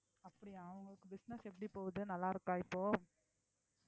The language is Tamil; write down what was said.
அப்படியா உங்களுக்கு business எப்படி போகுது நல்லா இருக்கா இப்போ